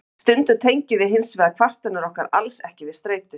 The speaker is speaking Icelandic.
Stundum tengjum við hins vegar kvartanir okkar alls ekki við streitu.